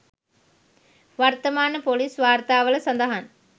වර්තමාන ‍පොලිස් වාර්තාවල සඳහන්